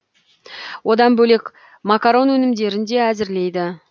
одан бөлек макарон өнімдерін де әзірлейді